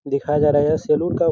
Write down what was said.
दिखाया जा रहा है यह सैलून का --